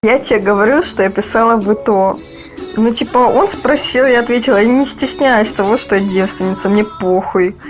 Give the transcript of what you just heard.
я тебе говорю что я писала бы то ну типа он спросил я ответила и не стесняясь того что я девственница мне по хуй